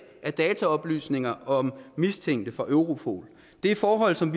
af dataoplysninger om mistænkte fra europol det er forhold som